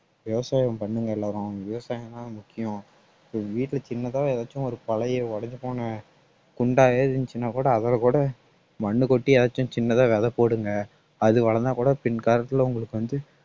விவசாயம் பண்ணுங்க எல்லாரும் விவசாயம்தான் முக்கியம் so வீட்டுல சின்னதா ஏதாச்சும் ஒரு பழைய உடைஞ்சு போன குண்டா ஏதாவது இருந்துச்சுன்னா கூட அதுலக்கூட மண்ணு கொட்டியாச்சு சின்னதா விதை போடுங்க அது வளந்தா கூட பின் காலத்துல உங்களுக்கு வந்து